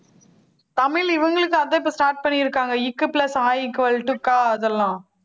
தமிழ் இவங்களுக்கு அதான் இப்ப start பண்ணிருக்காங்க க் plus அ equal to க அது எல்லாம்